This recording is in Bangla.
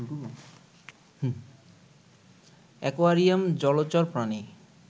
অ্যাকোয়ারিয়াম, জলচর প্রাণী